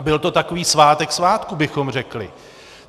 A byl to takový svátek svátků, bychom řekli.